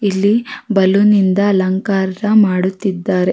ಮದ್ಯದಲ್ಲಿ ಆಟಾಡಕ್ಕಂತಾ ಒಂದಿಷ್ಟು ಜಾಗ ಬಿಟ್ಟಿದ್ರೆ --